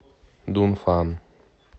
дунфан